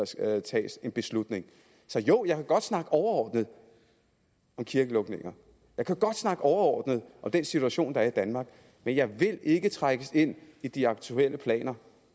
skal tages en beslutning så jo jeg kan godt snakke overordnet om kirkelukninger jeg kan godt snakke overordnet om den situation der er i danmark men jeg vil ikke trækkes ind i de aktuelle planer